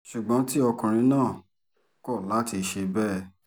ṣùgbọ́n tí ọkùnrin náà kọ̀ láti ṣe bẹ́ẹ̀